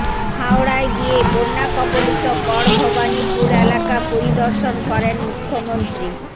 হাওড়ায় গিয়ে বন্যা কবলিত গড়ভবানীপুর এলাকা পরিদর্শন করেন মুখ্যমন্ত্রী